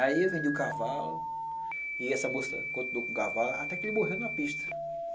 Aí eu vendi o cavalo, e essa moça continuou com o cavalo, até que ele morreu numa pista.